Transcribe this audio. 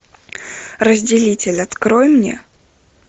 разделитель открой мне